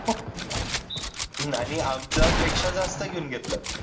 हम्म आणि आमच्यापेक्षा जास्त घेऊन घेतलं